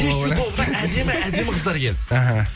кешью тобына әдемі әдемі қыздар келді аха